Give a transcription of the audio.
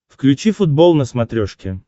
включи футбол на смотрешке